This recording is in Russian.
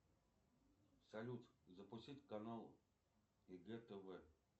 салют запустить канал егэ тв